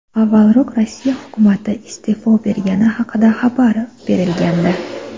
Avvalroq Rossiya hukumati iste’fo bergani haqida xabar berilgandi .